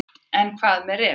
En hvað með refinn.